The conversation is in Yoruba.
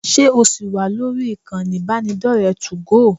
Ṣé ò ṣì wà lórí ìkànnì ìbánidọ́rẹ̀ẹ́ 2go?